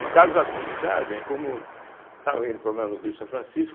No caso da comunidade, é como eu estava indo do Rio São Francisco,